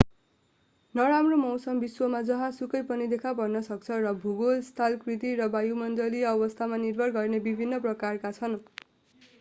नराम्रो मौसम विश्वमा जहाँ सुकै पनि देखा पर्न सक्छ र भूगोल स्थलाकृति र वायुमण्डलीय अवस्थामा निर्भर गर्ने विभिन्न प्रकारका छन्